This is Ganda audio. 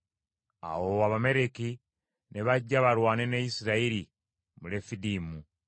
Awo Abamaleki ne bajja balwane ne Isirayiri mu Lefidimu.